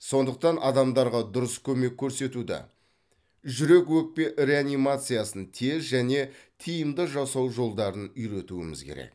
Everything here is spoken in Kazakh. сондықтан адамдарға дұрыс көмек көрсетуді жүрек өкпе реанимациясын тез және тиімді жасау жолдарын үйретуіміз керек